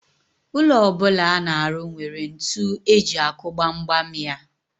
Ụlọ ọ bụla a na-arụ nwere ntu eji akụ gbamgbam ya.